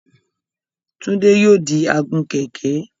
Túndé yóò di agun-kẹ̀ẹ̀kẹ́.